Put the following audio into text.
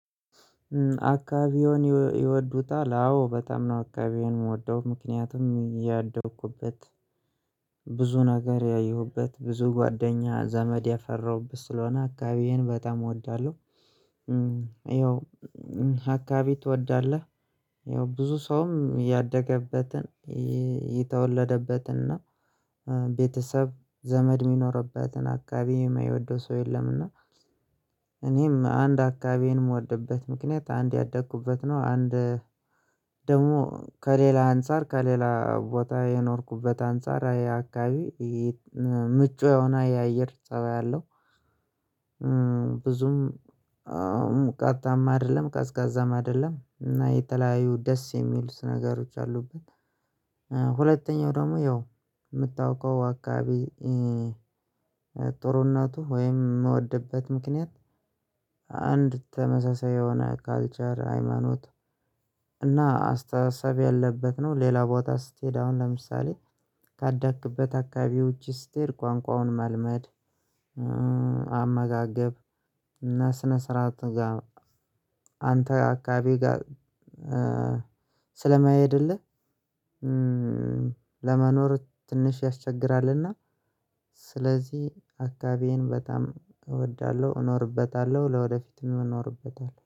አካባቢውን ይወዱታል አዎ በጣም ነው አካባቢውን የምወደው ምክንያቱም እያደኩበት ብዙ ነገር ያየሁበት ብዙ ጓደኛ ዘመድ ያፈራሁበት ስለሆነ አካባቢዬን በጣም እወዳለሁ። ይኸው አካባቢ ትወዳለህ? ይኸው ብዙ ሰውም ያደገበትን የተወለደበትን እና ቤተሰብ ዘመድ የሚኖርበትን አካባቢ የማይወደው ሰው የለምና። እኔም አንድ አካባቢዬን የምወድበት ምክንያት አንድ ያደኩበት ነው። አንድ ደግሞ ከሌላ አንፃር ከሌላ ቦታ የኖርኩበት አንፃር ያ አካባቢ ምቹ የሆነ የአየር ፀባይ አለው። ብዙም ሙቀታም አይደለም ቀዝቃዛም አይደለም እና የተለያዩ ደስ የሚሉት ነገሮች አሉብን። ሁለተኛው ደግሞ ያው የምታውቀው አካባቢ እናቱ ወይም የምወድበት ምክንያት አንድ ተመሳሳይ የሆነ ካልቸር ሃይማኖት እና አስተሳሰብ ያለበት ነው። ሌላ ቦታ ስትሄድ አሁን ለምሳሌ ካደክበት አካባቢዎች ውጭ ስትሄድ ቋንቋውን መልመድ አመጋገብ እና ስነ ስርዓት ጋር አንተ አካባቢ ጋር ስለማይሄድልህ ለመኖር ትንሽ ያስቸግራልና። ስለዚህ አካባቢዬን በጣም እወዳለሁ እኖርበታለሁ ለወደፊትም እኖርበታለሁ